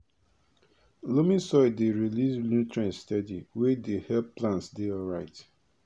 loamy soil dey release nutrients steady wey dey help plants dey alright